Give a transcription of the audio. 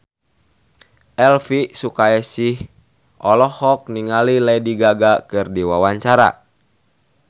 Elvi Sukaesih olohok ningali Lady Gaga keur diwawancara